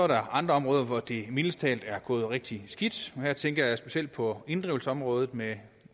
der er andre områder hvor det mildest talt er gået rigtig skidt her tænker jeg specielt på inddrivelsesområdet med